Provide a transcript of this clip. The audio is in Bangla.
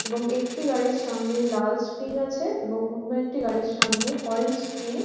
এবং একটি গাড়ির সামনে লাল স্প্রিং আছে এবং অন্য একটি গাড়ির সামনে অরেঞ্জ স্প্রিং ।